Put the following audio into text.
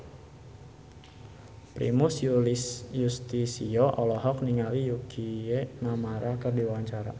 Primus Yustisio olohok ningali Yukie Nakama keur diwawancara